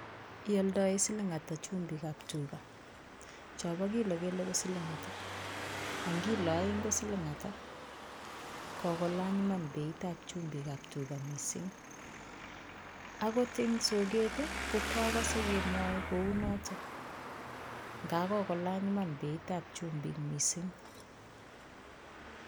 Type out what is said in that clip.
Ioldoen siling' ata chumbikab tuga , chombo kilo kele ko siling' ata? Ang kilo oeng' ko siling ata? Kokolany iman beitab chumbikab tuga missing' agot en soket ii kokwokose kemwoe kounoton. Nga kokolany iman beitab chumbik missing'.